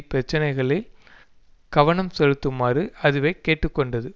பிரச்சனைகளில் கவனம் செலுத்துமாறு அதுவை கேட்டு கொண்டது